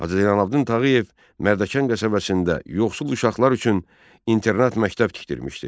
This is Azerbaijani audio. Hacı Zeynəlabdin Tağıyev Mərdəkan qəsəbəsində yoxsul uşaqlar üçün internat məktəb tikdirmişdi.